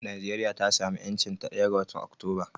Najeriya ta samu 'yancinta ɗaya ga watan Oktoba.